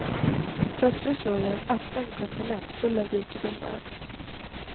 Plötsligt låg där en öppen kontinent full av rikedomar.